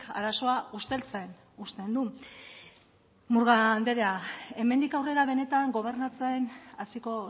arazoa usteltzen uzten du murga anderea hemendik aurrera benetan gobernatzen hasiko